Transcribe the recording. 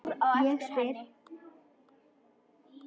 Ég spyr.